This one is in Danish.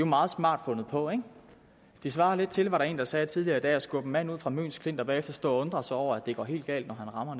meget smart fundet på ikke det svarer lidt til var der en der sagde tidligere i dag at skubbe en mand ud fra møns klint og bagefter stå og undre sig over at det går helt galt når han rammer